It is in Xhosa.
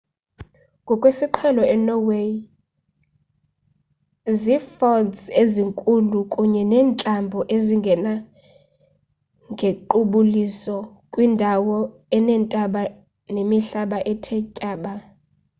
ngokwesiqhelo enorway zi-fjords ezinzulu kunye neentlambo ezingena ngequbuliso kwindawo eneentaba nemihlaba ethe tyaba